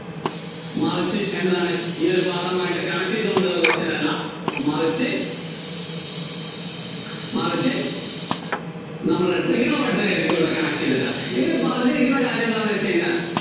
മറിച്ച് എന്താണ് ഈ ഒരു പാഠവും ആയിട്ട് connect ചെയ്തുകൊണ്ടുള്ള question അല്ല മറിച്ച്, മറിച്ച് നമ്മുടെ trigonometry യും ആയിട്ടുകൂടി connect ചെയ്തിട്ടാ. ഇതില്‍ പറഞ്ഞിരിക്കുന്ന ഒരു കാര്യം എന്താന്നുവച്ചുകഴിഞ്ഞാല്‍